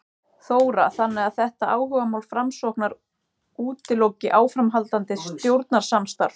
Þóra: Þannig að þetta áhugamál Framsóknar útiloki áframhaldandi stjórnarsamstarf?